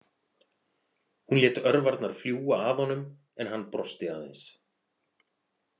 Hún lét örvarnar fljúga að honum en hann brosti aðeins.